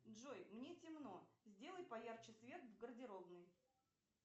джой мне темно сделай поярче свет в гардеробной